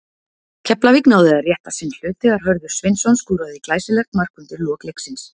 Keflavík náði að rétta sinn hlut þegar Hörður Sveinsson skoraði glæsilegt mark undir lok leiksins.